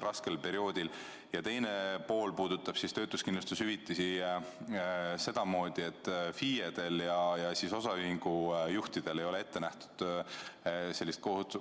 Küsimuse teine pool puudutabki töötuskindlustushüvitisi sellest küljest, et FIE-del ja osaühingu juhtidel ei ole ette nähtud